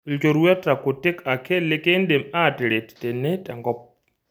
Ilchorueta kutik ake likindim aataret tene tenkop.